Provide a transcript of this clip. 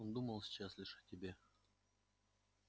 он думал сейчас лишь о себе